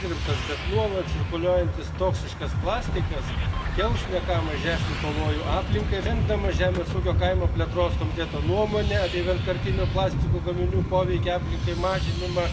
pozerať ako na cyklus výroby, použitie až po ich recykláciu, resp. bezpečné zneškodnenie. Ale plne sa prihováram a podporujem nahradenie plastov novými druhmi obalového materiálu, ktorý má minimálny vplyv na životné prostredie, je rozložiteľný a v konečnom dôsledku aj zdravotne nezávadný.